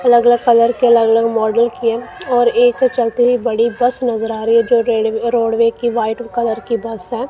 अलग अलग कलर के अलग अलग मॉडल के और एक चलती हुई बड़ी बस नज़र आ रही है जो रेड रोडवे की वाइट कलर की बस है।